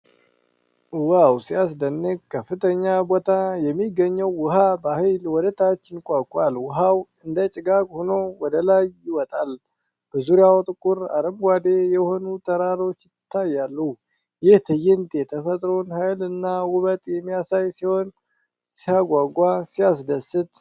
ዋው ሲያስደንቅ! ከፍተኛ ቦታ የሚገኘው ውኃ በኃይል ወደታች ይንኳኳል። ውኃው እንደ ጭጋግ ሆኖ ወደ ላይ ይወጣል። በዙሪያው ጥቁር አረንጓዴ የሆኑ ተራሮች ይታያሉ። ይህ ትዕይንት የተፈጥሮን ኃይልና ውበት የሚያሳይ ሲሆን ሲያጓጓ! ሲያስደስት!